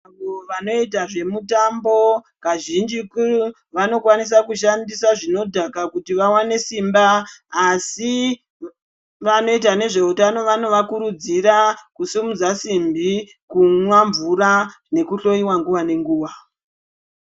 Vanhu vanoite zvemutambo kazhinjitu vanokwanisa kushandisa zvinodhaka kuti vawane simba asi vanoita nezveutano vanovakurudzira kusimudza simbi kumwa mvura nekuhloyiwa nguwa nenguwa.